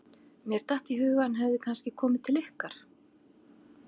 Mér datt í hug að hann hefði kannski komið til ykkar.